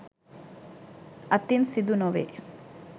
අතින් සිදුනොවේ.